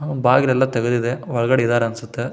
ಬಾಗಿಲು ಎಲ್ಲ ತೆಗೆದಿದೆ ಒಳಗಡೆ ಇದ್ದಾರೆ ಅನ್ಸುತ್ತೆ --